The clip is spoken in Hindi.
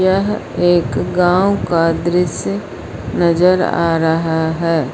यह एक गांव का दृश्य नजर आ रहा है।